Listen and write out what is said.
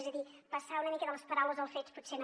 és a dir passar una mica de les paraules als fets potser no